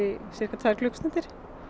síðustu tvær klukkustundir